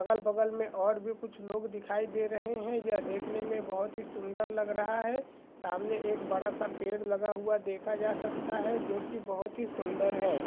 अगल-बगल मे और भी कुछ लोग दिखाई दे रहे है यह देखने मे बहुत ही सुंदर लग रहा है सामने एक बड़ा सा पैड लगा हुआ देखा जा सकता है जो की बहुत ही सुंदर है